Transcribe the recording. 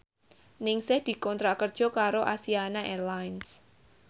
Ningsih dikontrak kerja karo Asiana Airlines